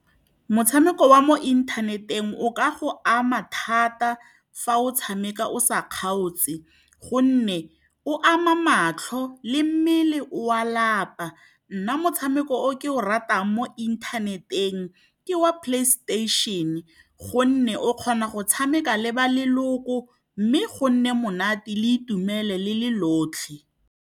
Motshameko wa mo inthaneteng o ka go ama thata fa o tshameka o sa kgaotse, gonne o ama matlho le mmele o a lapa. Nna motshameko o ke o ratang mo inthaneteng, ke wa PlayStation gonne o kgona go tshameka le ba leloko, mme go nna monate, o itumele le le lotlhe.